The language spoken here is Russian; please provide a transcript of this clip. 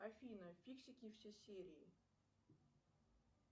афина фиксики все серии